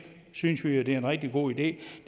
synes vi jo er en rigtig god idé